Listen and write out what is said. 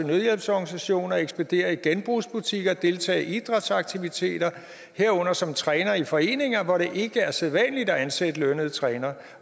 nødhjælpsorganisationer og ekspedere i genbrugsbutikker deltage i idrætsaktiviteter herunder som trænere i foreninger hvor det ikke er sædvanligt at ansætte lønnede trænere